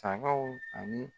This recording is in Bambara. Tangaw ani